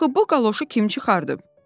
Axı bu qaloşu kim çıxardıb?